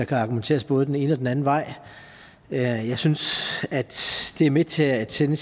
kan argumenteres både den ene og den anden vej jeg synes at det er med til at sende